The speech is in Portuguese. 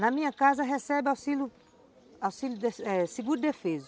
Na minha casa recebe auxílio, auxílio eh seguro defeso.